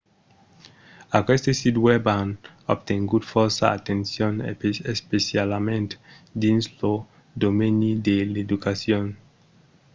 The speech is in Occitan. aqueste sits web an obtengut fòrça atencion especialament dins lo domeni de l'educacion